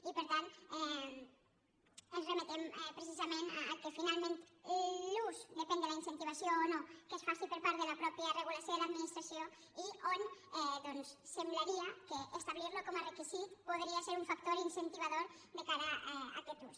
i per tant ens remetem precisament al fet que finalment l’ús depèn de la in·centivació o no que es faci per part de la mateixa re·gulació de l’administració i on doncs semblaria que establir·lo com a requisit podria ser un factor incenti·vador de cara a aquest ús